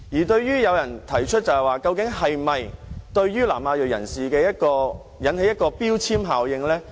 對於有人提出，這究竟會否對南亞裔人士造成標籤效應呢？